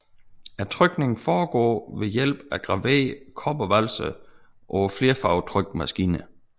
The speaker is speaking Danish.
Trykningen foregår ved hjælp af graverede kobbervalser på flerfarvetrykmaskiner